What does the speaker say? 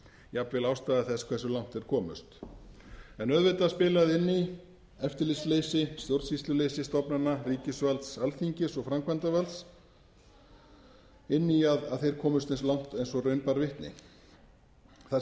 jafnvel ástæða þess hversu langt þeir komust auðvitað spilaði eftirlitsleysi stjórnsýsluleysi stofnana ríkisvalds alþingis og framkvæmdarvalds inn í að þeir komust eins langt og raun bar vitni þar